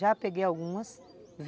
Já peguei algumas.